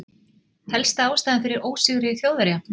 Helsta ástæðan fyrir ósigri Þjóðverja?